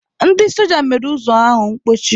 Ndị soja mere ụzọ ahụ mkpochi.